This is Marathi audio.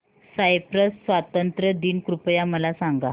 सायप्रस स्वातंत्र्य दिन कृपया मला सांगा